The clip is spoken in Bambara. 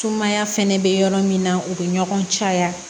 Sumaya fɛnɛ bɛ yɔrɔ min na u bɛ ɲɔgɔn caya